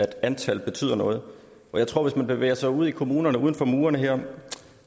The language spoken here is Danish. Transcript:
antal betyder noget og hvis man bevæger sig ud i kommunerne uden for murene her